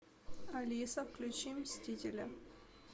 алиса включи мстителя